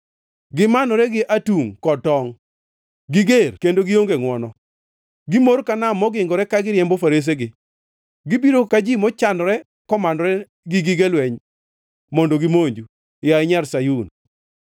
Gimanore gi atungʼ kod tongʼ; giger kendo gionge ngʼwono. Gimor ka nam mogingore ka giriembo faresegi; gibiro ka ji mochanore komanore gi gige lweny mondo gimonju, yaye Nyar Sayun.”